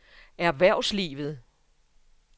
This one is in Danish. erhvervslivet